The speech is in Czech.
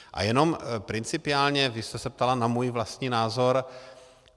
A jenom principiálně, vy jste se ptala na můj vlastní názor.